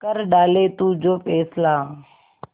कर डाले तू जो फैसला